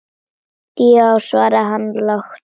Já, svaraði hann lágt.